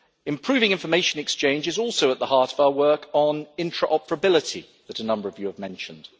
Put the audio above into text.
Improving information exchange is also at the heart of our work on interoperability that a number of you have mentioned.